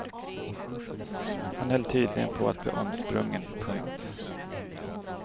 Han höll tydligen på att bli omsprungen. punkt